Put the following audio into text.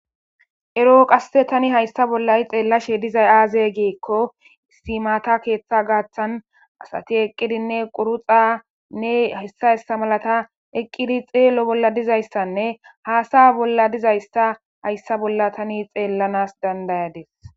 Ero Tani ha'i haysa bola xelashe dizay aze giko mata ketha gathan asati eqidine quruxane haysa haysa malata eqidi xelo bola dizaysane hasaya bola dizaysa haysa bola Tani xelanas dandayadis